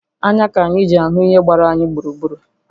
Anya ka anyị ji ahụ ihe gbara anyị gburugburu